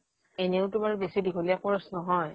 এনেওতো বাৰু বেছি দীঘলীয়া course নহয়